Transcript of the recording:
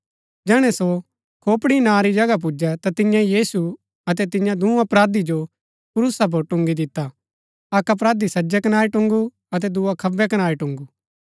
जैहणै सो खोपड़ी नां री जगहा पुजै ता तियें यीशु अतै तियां दूँ अपराधी जो क्रूसा पुर टुन्गी दिता अक्क अपराधी सज्जै कनारी टुन्‍गू अतै दुआ खब्बै कनारी टुन्‍गू